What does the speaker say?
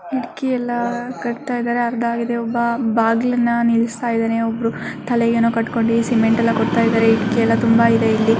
ಕಿಡಕಿ ಎಲ್ಲಾ ಕಟ್ತಾ ಇದ್ದಾರೆ ಅರ್ಧ ಆಗಿದೆ ಒಬ್ಬ ಬಾಗಿಲನ ನಿಲಸ್ತ ಇದ್ದಾನೆ ಒಬ್ಬರು ತಲೆಗೆ ಏನು ಕಟ್ಟಕೊಂಡು ಸಿಮೆಂಟ್ ಎಲ್ಲಾ ಕೊಡ್ತಾ ಇದ್ದಾರೆ ಇಟ್ಟಿಗೆ ಎಲ್ಲಾ ತುಂಬಾ ಇದೆ ಇಲ್ಲಿ .